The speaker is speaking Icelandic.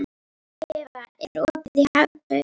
Eva, er opið í Hagkaup?